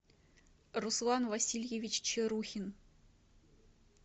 руслан васильевич чарухин